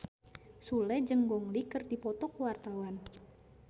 Sule jeung Gong Li keur dipoto ku wartawan